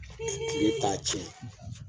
tile t'a tiɲɛ